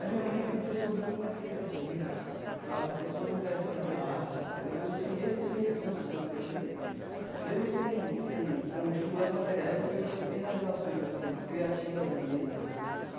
A de minha mãe tem pessoas muito mais criativas sabe, pessoas interessadas em arte, entendeu pessoas que, mesmo sem recursos financeiros nem, mesmo sem sem com dificuldades materiais, são pessoas que têm realizações assim criativas mesmo.